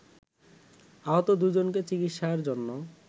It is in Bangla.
আহত দুইজনকে চিকিৎসার জন্য